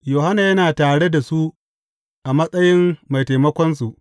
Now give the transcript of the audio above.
Yohanna yana tare da su a matsayin mai taimakonsu.